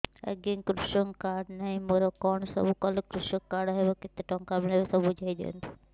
ଆଜ୍ଞା କୃଷକ କାର୍ଡ ନାହିଁ ମୋର କଣ ସବୁ କଲେ କୃଷକ କାର୍ଡ ହବ କେତେ ଟଙ୍କା ମିଳିବ ସବୁ ବୁଝାଇଦିଅନ୍ତୁ